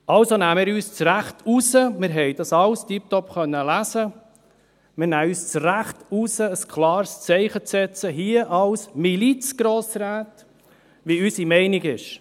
Also nehmen wir uns das Recht heraus – wir konnten das alles tipptopp lesen –, hier als Milizgrossräte ein klares Zeichen zu setzen, wie unsere Meinung ist.